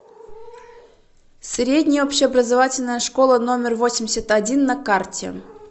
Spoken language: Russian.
средняя общеобразовательная школа номер восемьдесят один на карте